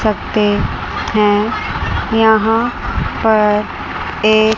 सकते हैं यहां पर एक--